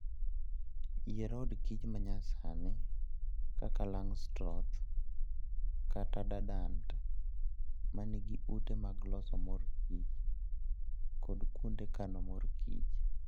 Yier od kich manyasani kaka Langstroth kata Dadant, ma nigi ute mag loso mor kich kod kuonde kano mor kich.